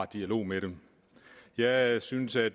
dialog med dem jeg synes at